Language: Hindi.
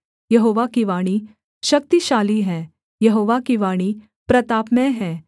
यहोवा की वाणी शक्तिशाली है यहोवा की वाणी प्रतापमय है